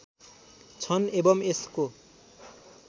छन् एवम् यसको